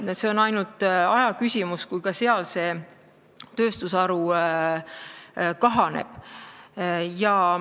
On ainult ajaküsimus, millal ka seal see tööstusharu kahaneb.